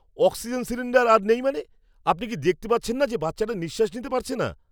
Oxygen cylinder আর নেই মানে? আপনি কি দেখতে পাচ্ছেন না যে বাচ্চাটা নিঃশ্বাস নিতে পারছে না?